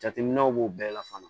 Jateminɛw b'o bɛɛ la fana